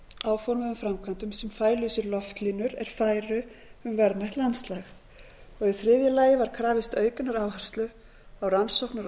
áformuðum framkvæmdum sem fælu í sér loftlínur er færu um verðmætt landslag og í þriðja lagi var krafist aukinnar áherslu á rannsóknir og